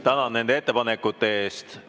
Tänan nende ettepanekute eest!